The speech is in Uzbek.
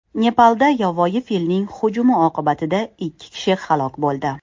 Nepalda yovvoyi filning hujumi oqibatida ikki kishi halok bo‘ldi.